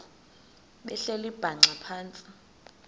behleli bhaxa phantsi